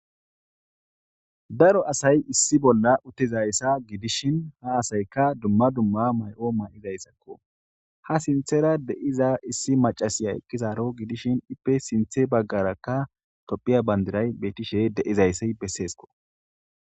Daro asay issi bolla utizayssa gidishin ha asayka dumma dumma may7o may7izayssakko. Ha sinthera de7iza issi macasiya eqqizaro gidishin ippe sinthe baggaraka tophiya bandiray betishe de7izayssi besseesko.